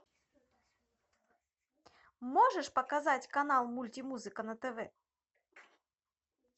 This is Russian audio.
можешь показать канал мультимузыка на тв